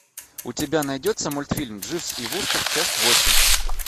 у тебя найдется мультфильм дживс и вустер часть восемь